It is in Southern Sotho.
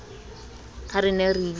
ha re ne re ilo